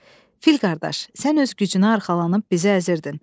Fil qardaş, sən öz gücünə arxalanıb bizi əzirdin.